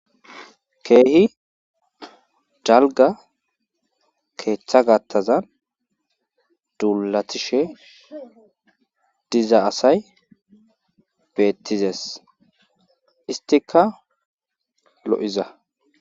keehi jalga keeththa gattazan duulatishe diza asay beettizes istika lo7iza